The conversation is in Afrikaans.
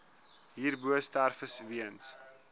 hierbo sterftes weens